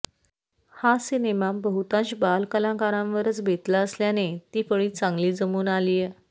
हा सिनेमा बहुतांश बालकलाकारांवरच बेतला असल्याने ती फळी चांगली जमून आलीय